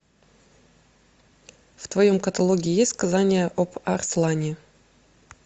в твоем каталоге есть сказание об арслане